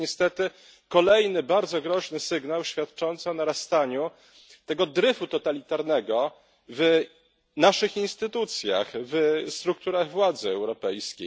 To jest niestety kolejny bardzo groźny sygnał świadczący o narastaniu tego dryfu totalitarnego w naszych instytucjach, w strukturach władzy europejskiej.